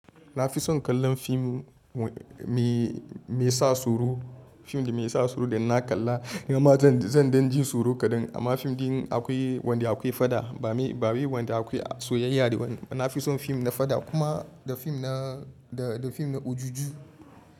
Na fi son kallon fim, mai sa tsoro. Fim da mai sa tsoro da inna kalla ya ma zan, zan dan ji tsoro kaɗan. Amma fim din akwai wanda akwai fada ba, ba mai wanda akwai soyayya da wani. Na fi son fim na fada kuma da fim na, da, da fim na ojuju.